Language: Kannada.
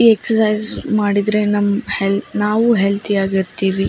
ಈ ಎಕ್ಸಸೈಸ್ ಮಾಡಿದ್ರೆ ನಮ್ಮ್ ಹೆಲ್ಲ್ ನಾವು ಹೆಲ್ತಿಯಾಗಿರ್ತಿವಿ .